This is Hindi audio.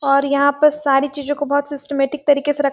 और यहाँ पे सारी चीजों को बहुत सिस्ट्मेटिक तरीके से रखा --